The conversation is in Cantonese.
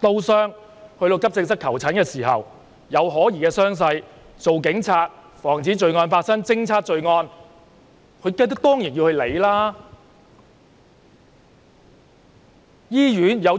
刀傷，到急症室求診，傷勢有可疑，身為警察，要防止罪案、偵測罪案，當然要加以理會。